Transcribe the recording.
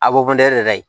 A de kayi